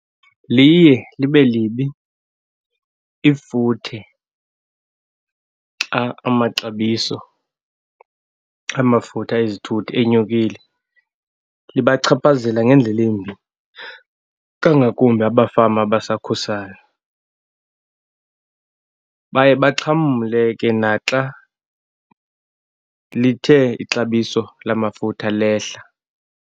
Liye libe libi ifuthe xa amaxabiso amafutha ezithuthi enyukile. Ibachaphazela ngendlela embi, kangakumbi abafama abasakhasayo. Baye baxhamle ke naxa lithe ixabiso lamafutha lehla.